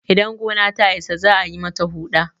idan gona ta Isa za a yi mata Huɗa